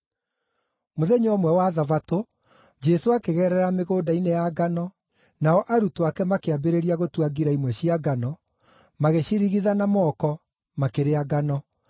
Mũthenya ũmwe wa Thabatũ, Jesũ akĩgerera mĩgũnda-inĩ ya ngano, nao arutwo ake makĩambĩrĩria gũtua ngira imwe cia ngano, magĩcirigitha na moko, makĩrĩa ngano.